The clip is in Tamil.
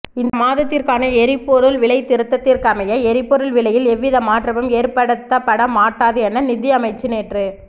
இந்த மாதத்திற்கான எரிப்பொருள் விலைத்திருத்தத்திற்கமைய எரிப்பொருள் விலையில் எவ்வித மாற்றமும் ஏற்படுத்தப்பட மாட்டாது என நிதியமைச்சு நேற்று